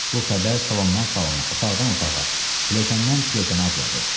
Bu xəbər salondan salona, otaqdan otağa, pilləkəndən pilləkənə adladı.